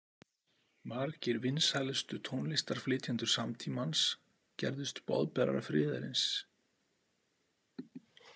Margir vinsælustu tónlistarflytjendur samtímans gerðust boðberar friðarins.